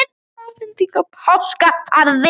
Stytta afhent í Páfagarði